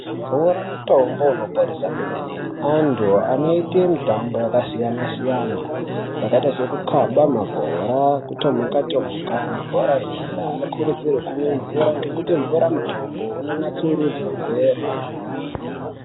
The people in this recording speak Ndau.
Mvura mutombo uno ponesa kwemene antu anoite mitombo yaka siyana siyana yakaita seku kaba mabhora ku tomhuka tomhuka mabhora enyara ano kurudzirwe kumwe mvura ngekuti mvura mutombo uno natsurudze ugwere.